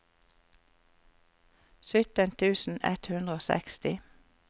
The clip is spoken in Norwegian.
sytten tusen ett hundre og seksti